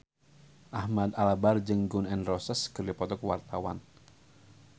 Ahmad Albar jeung Gun N Roses keur dipoto ku wartawan